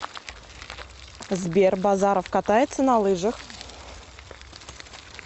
сбер базаров катается на лыжах